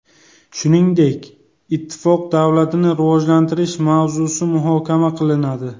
Shuningdek, Ittifoq davlatini rivojlantirish mavzusi muhokama qilinadi.